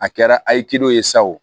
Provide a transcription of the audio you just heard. A kɛra a ye ye sa o